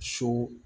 So